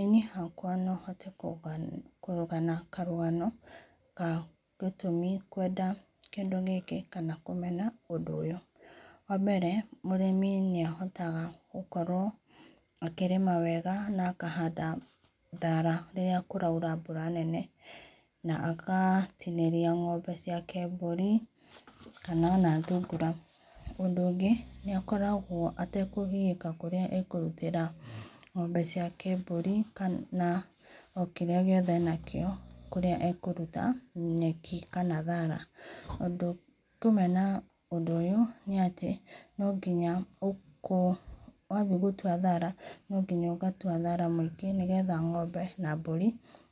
Ĩĩ niĩ hakwa no hote kũgana karũgano ka gĩtũmĩ kũenda kĩndũ gĩkĩ kana kũmena ũndũ ũyũ, wa mbere mũrĩmi nĩahotaga gũkorwo akĩrĩma wega na akahanda thara rĩra kũraũra mbũra nene na agatĩnĩrĩa ngombe ciake mbũrĩ kana ona thũngũra, ũndũ ũgĩ nĩ akoragwo atakũgiĩka kũrĩa akũrũtĩra ngombe ciake mbũri kana na okĩrĩa gĩothe enakĩo kũrĩa akũrũta nyeki kana thara. Undũ wa kũmena ũndũ ũyũ nĩ atĩ no ngĩnya wathĩe gũtũa thara no gĩnya ũgatũa thara mwĩngĩ nĩ getha ngombe na mbũrĩ